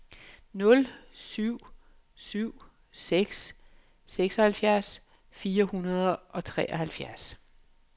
nul syv syv seks seksoghalvfjerds fire hundrede og treoghalvtreds